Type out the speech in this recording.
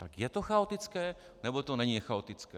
Tak je to chaotické, nebo to není chaotické?